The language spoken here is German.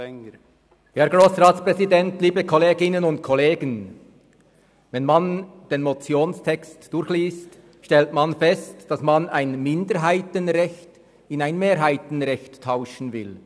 Wenn man den Motionstext durchliest, stellt man fest, dass ein Minderheitenrecht mit einem Mehrheitenrecht getauscht werden soll.